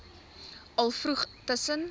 al vroeg tussen